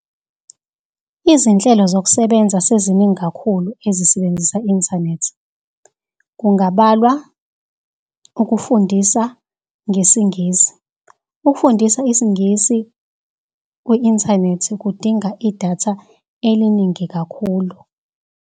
Izinhlelo zokusebenza seziningi kakhulu ezisebenzisa inthanethi kungabalwa ukufundisa ngesiNgisi. Ukufundisa isiNgisi kwi-inthanethi kudinga idatha eliningi kakhulu.